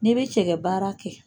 N'e bɛ cɛkɛ baara kɛ.